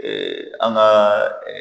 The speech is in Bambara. an ka